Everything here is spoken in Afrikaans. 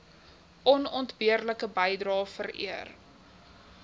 onontbeerlike bydrae vereer